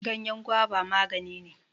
Ganyan guba maganine.